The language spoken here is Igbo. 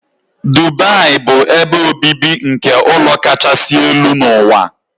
Dubai bụ ebe obibi nke ụlọ kachasị elu n'ụwa.